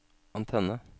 antenne